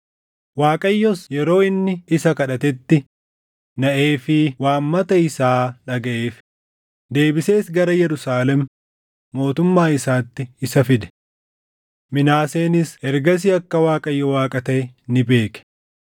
Waaqayyos yeroo inni isa kadhatetti naʼeefii waammata isaa dhagaʼeef; deebisees gara Yerusaalem mootummaa isaatti isa fide. Minaaseenis ergasii akka Waaqayyo Waaqa taʼe ni beeke.